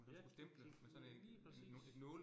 Ja, klikke den lige præcis